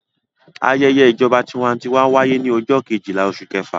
Ayẹyẹ ìjọba tiwantiwa wáyé ní ọjọ́ kejìlá oṣù kẹfà.